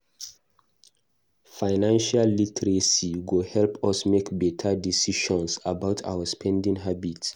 Financial literacy go help us make beta decisions about our spending habit.